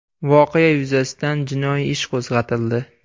Voqea yuzasidan jinoiy ish qo‘zg‘atildi.